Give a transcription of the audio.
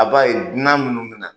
A b'a ye dunan minnu bi na .